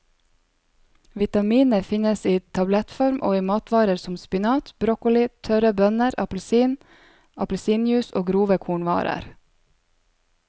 Vitaminet finnes i tablettform og i matvarer som spinat, broccoli, tørre bønner, appelsiner, appelsinjuice og grove kornvarer.